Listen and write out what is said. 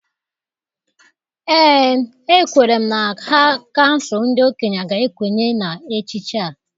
Ee, ekwere m na ha kansụl ndị okenye ga-ekwenye na echiche a.